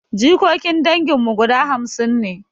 Jikokin dangin mu guda hamsin ne